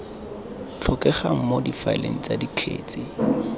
tlhokegang mo difaeleng tsa dikgetse